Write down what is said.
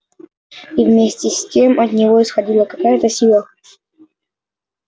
и вместе с тем от него исходила какая-то сила